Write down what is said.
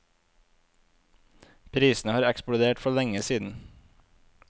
Prisene har eksplodert for lenge siden.